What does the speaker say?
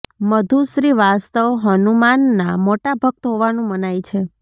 મધુ શ્રીવાસ્તવ હનુમાનના મોટા ભક્ત હોવાનું મનાય છે